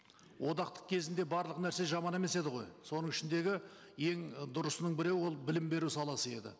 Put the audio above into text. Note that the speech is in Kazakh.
одақтық кезінде барлық нәрсе жаман емес еді ғой соның ішіндегі ең дұрысының бірі ол білім беру саласы еді